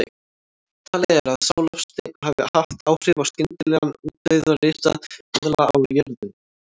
Talið er að sá loftsteinn hafi haft áhrif á skyndilegan útdauða risaeðla á jörðinni.